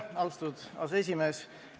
Austatud aseesimees!